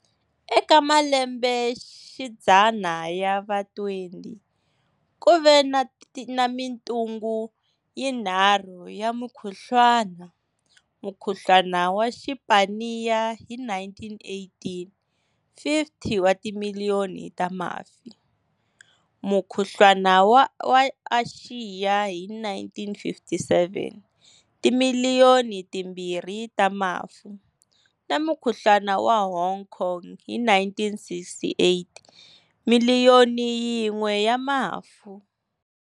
Eka malembexidzana ya va20, ku ve na mitungu yinharhu ya mukhuhlwana-Mukhuhlwana wa Xipaniya hi 1918-50 wa timiliyoni ta mafu, Mukhuhlwana wa Axiya hi 1957 Timiliyoni timbirhi ta mafu, na Mukhuhlwana wa Hong Kong hi 1968 Miliyoni yin'we ya mafu.